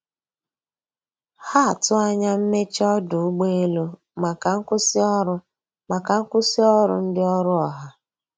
Ha atụ anya mmeche ọdụ ụgbọ elụ maka nkwụsi ọrụ maka nkwụsi ọrụ ndi ọrụ ha